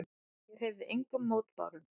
Ég hreyfði engum mótbárum.